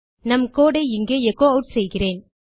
நம் கோடு ஐ இங்கே எச்சோ ஆட் செய்கிறேன்